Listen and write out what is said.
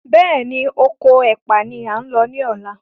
Béèni Okò ẹpa ní a ń ló ní ọlá.